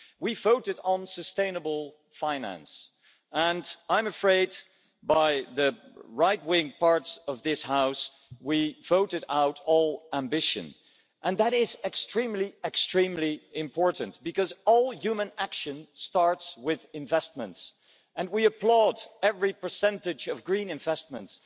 We voted on sustainable finance and I'm afraid that, by the right wing parts of this House, we voted out all ambition and that is extremely important because all human action starts with investments and we applaud every percentage of green investments.